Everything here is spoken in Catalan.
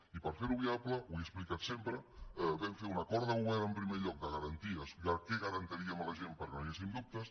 i per fer lo viable ho he explicat sempre vam fer un acord de govern en primer lloc de garanties de què garantiríem a la gent perquè no hi haguessin dubtes